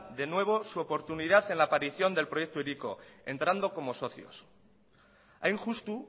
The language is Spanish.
de nuevo su oportunidad en la aparición del proyecto hiriko entrando como socios hain justu